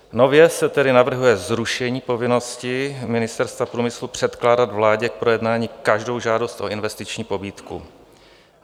Nově se tedy navrhuje zrušení povinnosti Ministerstva průmyslu předkládat vládě k projednání každou žádost o investiční pobídku.